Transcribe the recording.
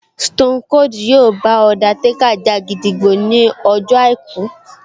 Stone Cold yóò bá Undertaker ja gídígbò ní ọjọ́ àìkú